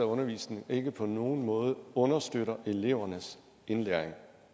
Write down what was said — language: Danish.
undervisning ikke på nogen måde understøtter elevernes indlæring